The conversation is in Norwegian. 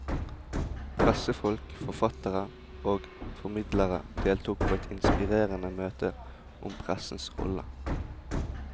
Pressefolk, forfattere og formidlere deltok på et inspirerende møte om pressens rolle.